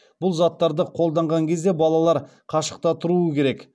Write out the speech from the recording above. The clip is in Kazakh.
бұл заттарды қолданған кезде балалар қашықта тұруы керек